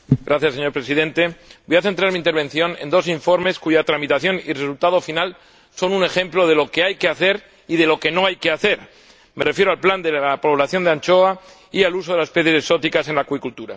Señor Presidente, voy a centrar mi intervención en dos informes cuya tramitación y resultado final son un ejemplo de lo que hay que hacer y de lo que no hay que hacer. Me refiero al plan de la población de la anchoa y al uso de las especies exóticas en acuicultura.